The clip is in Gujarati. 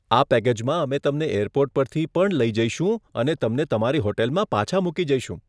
આ પેકેજમાં, અમે તમને એરપોર્ટ પરથી પણ લઈ જઈશું અને તમને તમારી હોટલમાં પાછા મૂકી જઈશું.